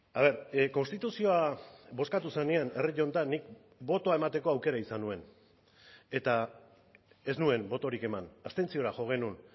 a ver konstituzioa bozkatu zenean herri honetan nik botoa emateko aukera izan nuen eta ez nuen botorik eman abstentziora jo genuen